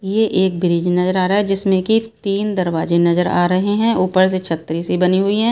यह एक ब्रिज नजर आ रहा है जिसमें की तीन दरवाजे नजर आ रहे हैं ऊपर से छतरी से बनी हुई है।